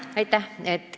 Aitäh!